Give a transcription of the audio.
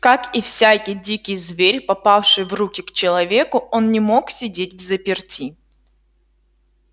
как и всякий дикий зверь попавший в руки к человеку он не мог сидеть взаперти